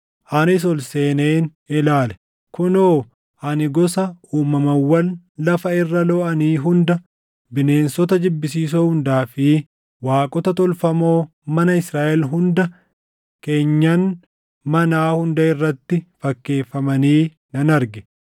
Anis ol seeneen ilaale; kunoo ani gosa uumamawwan lafa irra looʼanii hunda, bineensota jibbisiisoo hundaa fi waaqota tolfamoo mana Israaʼel hunda keenyan manaa hunda irratti fakkeeffamanii nan arge.